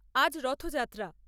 আজ রথযাত্রা ।